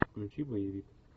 включи боевик